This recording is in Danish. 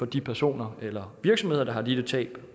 de personer eller virksomheder der har lidt et tab